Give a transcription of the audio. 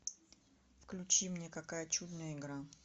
включи мне какая чудная игра